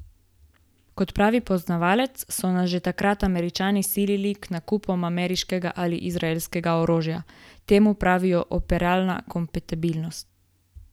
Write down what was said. Kot pravi poznavalec, so nas že takrat Američani silili k nakupom ameriškega ali izraelskega orožja: "Temu pravijo 'operabilna kompatibilnost'.